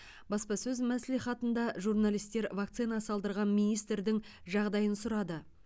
баспасөз мәслихатында журналистер вакцина салдырған министрдің жағдайын сұрады